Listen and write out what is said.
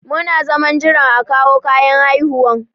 Muna zaman jiran a kawo kayan haihuwan.